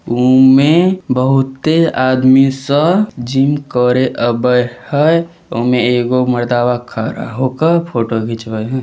ऊमे बहुते आदमी सब जिम करे आबे हेय उमे एगो मरदवा खड़ा होकर फोटो घिचवे हेय।